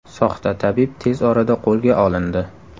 Soxta tabib tez orada qo‘lga olindi.